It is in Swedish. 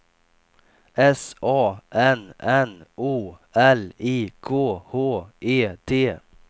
S A N N O L I K H E T